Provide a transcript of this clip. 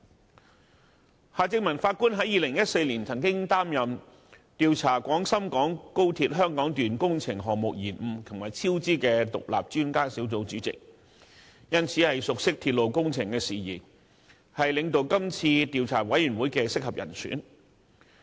法官夏正民曾於2014年擔任調查廣深港高鐵香港段工程項目延誤和超支的獨立專家小組主席，熟悉鐵路工程事宜，是領導調查委員會的合適人選。